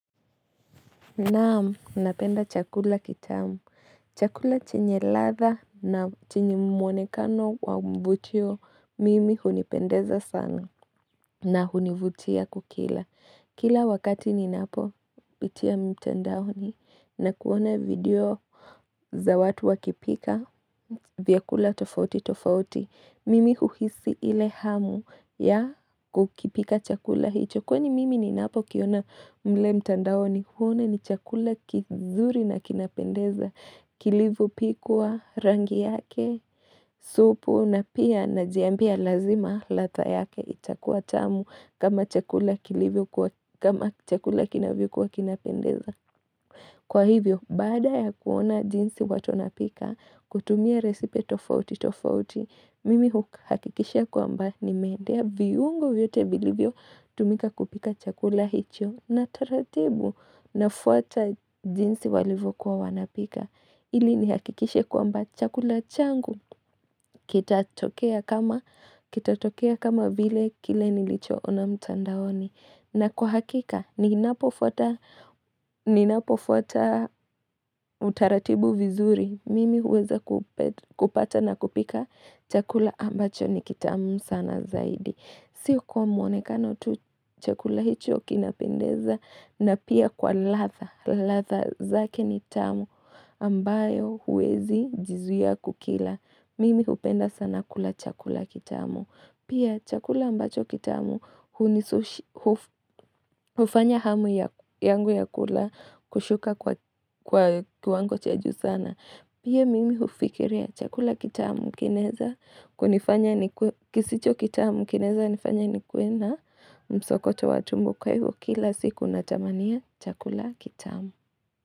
Naamu, napenda chakula kitamu. Chakula chenye ladha na chenye mwonekano wa mvutio mimi hunipendeza sana na hunivutia kukila. Kila wakati ni napo pitia mtandaoni na kuona video za watu wakipika vyakula tofauti tofauti. Mimi huhisi ile hamu ya kukipika chakula hicho kwenye mimi ni napo kiona mle mtandao ni huona ni chakula kizuri na kinapendeza kilivyopikwa rangi yake supu na pia najiambia lazima ladha yake itakuwa tamu kama chakula kilivyokwa kama chakula kinaviokuwa kinapendeza Kwa hivyo, bada ya kuona jinsi watu wanapika, kutumia resipe tofauti tofauti, mimi huhakikisha kwa mba ni meendea viungo vyote vilivyo tumika kupika chakula hicho na taratibu na fuata jinsi walivo kuwa wanapika. Ili nihakikishe kwa mba chakula changu, kitatokea kama vile kile nilichoona mtandaoni. Na kwa hakika, ninapofuata utaratibu vizuri, mimi huweza kupata na kupika chakula ambacho ni kitamu sana zaidi. Sio kwa mwonekano tu chakula hicho kinapendeza na pia kwa latha, latha zake ni tamu ambayo huwezi jizuiya kukila. Mimi hupenda sana kula chakula kitamu. Pia chakula ambacho kitamu hufanya hamu yangu ya kula kushuka kwa kiwango cha juu sana. Pia mimi ufikiria chakula kitamu kinaeza kisicho kitamu kinaeza nifanya ni kuwena msokoto watumbo kwa hivo kila siku na tamania chakula kitamu.